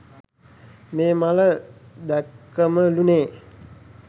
මේ මල දැක්කමලුනේ.